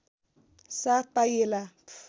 साथ पाइएला